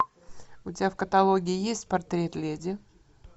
у тебя в каталоге есть портрет леди